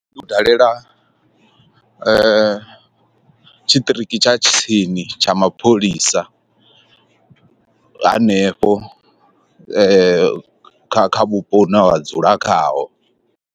U dalela tshiṱiriki tsha tsini tsha mapholisa hanefho kha kha vhupo hune wa dzula khaho.